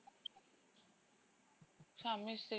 ସ୍ବାମୀ ସ୍ତ୍ରୀ